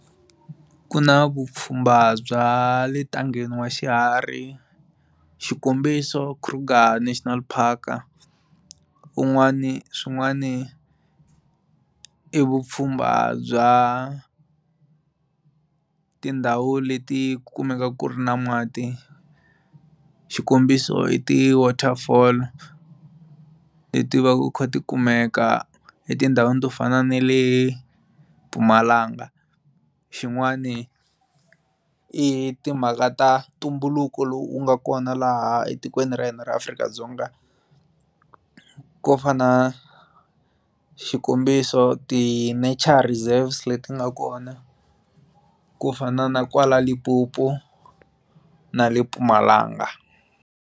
Ku na vupfhumba bya le ntangheni wa xiharhi xikombiso Kruger National Park un'wani swin'wani i vupfhumba bya tindhawu leti kumeka ku ri na mati xikombiso i ti waterfall leti va ti kha ti kumeka etindhawini to fana na le Mpumalanga xin'wani i timhaka ta ntumbuluko lowu u nga kona laha etikweni ra hina ra Afrika-Dzonga ku fana xikombiso ti natural reserves leti nga kona ku fana na kwala Limpopo na le Mpumalanga.